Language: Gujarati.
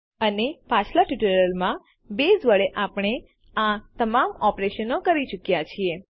અને પાછલા ટ્યુટોરીયલોમાં બેઝ વડે આપણે આ તમામ ઓપરેશનો કરી ચુક્યાં છીએ